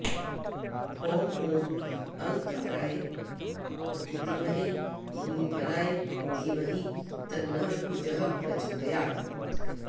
भौम ॐ अङ्गारकाय विद्महे भूमिपालाय धीमहि तन्नः कुजः प्रचोदयात्